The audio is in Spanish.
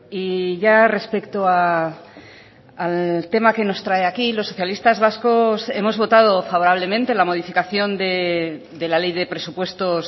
y ya respecto al tema que nos trae aquí los socialistas vascos hemos votado favorablemente la modificación de la ley de presupuestos